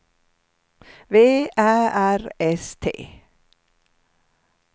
V Ä R S T